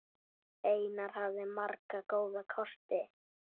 Einar hafði marga góða kosti.